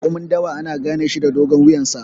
Raƙumin dawa ana ganeshi da dogon wuyansa.